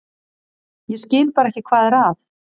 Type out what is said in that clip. Ég skil bara ekki hvað er að.